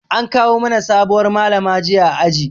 An kawo mana sabuwar Malama jiya a aji.